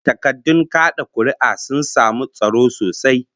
Takardun kad'a kuri'ar sun samu tsaro sosai